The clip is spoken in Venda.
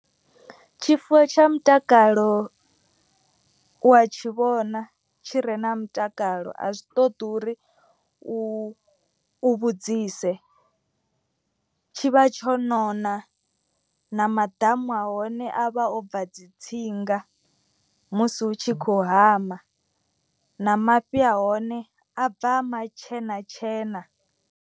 Tshifuwo tsha mutakalo u wa tshivhona tshi re na mutakalo a zwi ṱoḓi uri u vhudzise. Tshivha tsho nona na maḓamu a hone a vha o bva dzi tsinga musi hu tshi khou hama. Na mafhi a hone a bva a matshena tshena.